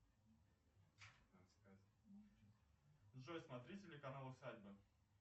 джой смотри телеканал усадьба